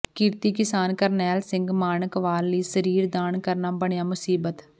ਕਿਰਤੀ ਕਿਸਾਨ ਕਰਨੈਲ ਸਿੰਘ ਮਾਣਕਵਾਲ ਲਈ ਸਰੀਰ ਦਾਨ ਕਰਨਾ ਬਣਿਆ ਮੁਸੀਬਤ